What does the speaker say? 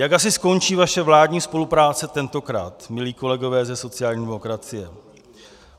Jak asi skončí vaše vládní spolupráce tentokrát, milí kolegové ze sociální demokracie?